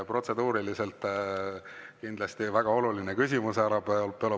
Protseduuriliselt kindlasti väga oluline küsimus, härra Belobrovtsev.